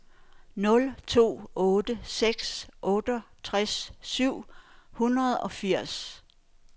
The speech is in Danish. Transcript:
nul to otte seks otteogtres syv hundrede og firs